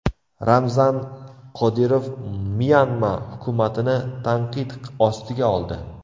Ramzan Qodirov Myanma hukumatini tanqid ostiga oldi.